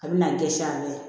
A bɛ na n dɛsɛ an bɛɛ